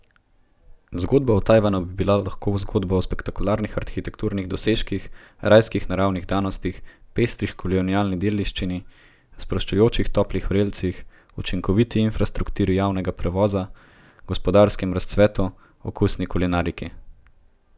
Zgodba o Tajvanu bi bila lahko zgodba o spektakularnih arhitekturnih dosežkih, rajskih naravnih danostih, pestri kolonialni dediščini, sproščujočih toplih vrelcih, učinkoviti infrastrukturi javnega prevoza, gospodarskem razcvetu, okusni kulinariki.